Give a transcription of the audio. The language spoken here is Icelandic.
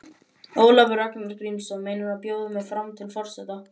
Ólafur Ragnar Grímsson: Meinarðu bjóða mig fram til forseta?